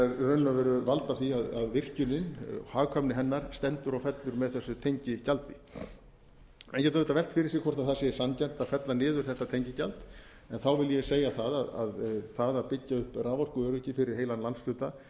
veru valda því að hagkvæmni virkjunarinnar stendur og fellur með þessu tengigjaldi menn geta auðvitað velt fyrir sér hvort það sé sanngjarnt að fella niður þetta tengigjald en þá vil ég segja það að það að byggja upp raforkuöryggi fyrir heilan landshluta